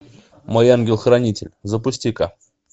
мой ангел хранитель запусти ка